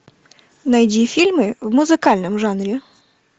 найди фильмы в музыкальном жанре